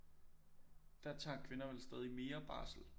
Der tager kvinder vel stadig mere barsel